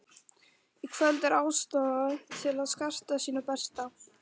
Í kvöld er ástæða til að skarta sínu besta.